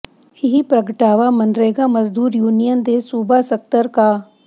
ਇਹ ਪ੍ਰਗਟਾਵਾ ਮਨਰੇਗਾ ਮਜ਼ਦੂਰ ਯੂਨੀਅਨ ਦੇ ਸੂਬਾ ਸਕੱਤਰ ਕਾ